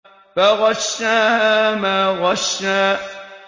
فَغَشَّاهَا مَا غَشَّىٰ